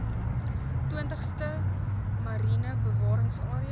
twintigste mariene bewaringsarea